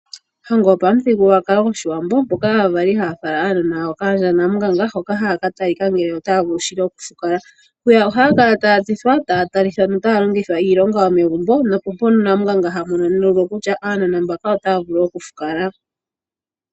Ohango yopamuthigululwakalo goshiwambo mpoka aavali haya fala aanona yawo kaandjaNamunganga hoka haya ka talika ngele otaya vulu shili okufukala. Hwiya ohaya kala taya tsithwa taya talithwa notaya longithwa iilonga yomegumbo nopo mpono Namunganga hamono kutya aanona mbaka otaya vulu okufukala.